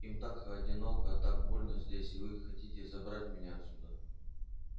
им так одиноко так больно здесь и вы хотите забрать меня отсюда